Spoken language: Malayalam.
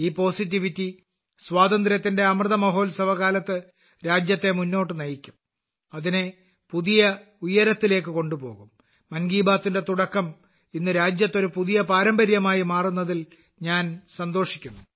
ഈ പോസിറ്റിവിറ്റി സ്വാതന്ത്ര്യത്തിന്റെ അമൃത മഹോത്സവ കാലത്ത് രാജ്യത്തെ മുന്നോട്ട് നയിക്കും അതിനെ ഒരു പുതിയ ഉയരത്തിലേക്ക് കൊണ്ടുപോകും മൻ കി ബാത്തിന്റെ തുടക്കം ഇന്ന് രാജ്യത്ത് ഒരു പുതിയ പാരമ്പര്യമായി മാറുന്നതിൽ ഞാൻ സന്തോഷിക്കുന്നു